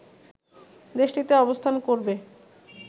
দেশটিতে অবস্থান করবে